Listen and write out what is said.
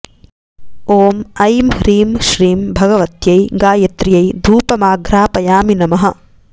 ॐ ऐं ह्रीं श्रीं भगवत्यै गायत्र्यै धूपमाघ्रापयामि नमः